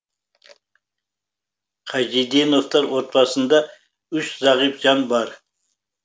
қажиденовтар отбасында үш зағип жан бар